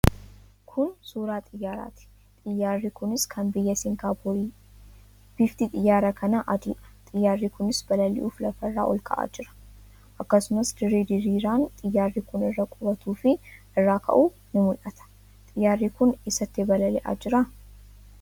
Kun suuraa xiyaaraa ti. Xiiyyaarri kunis kan biyya Singaappoori. bifti xiyyaara kanaa adii dha. Xiyyaarri kunis balali'uuf lafa irraa ol ka'aa jira. Akkasumas, dirree diriiraan xiyaarri kun irra qubatuu fi irraa ka'u ni mul'ata. Xiyyaarri kun eessatti balali'aa jira?